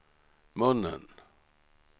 munnen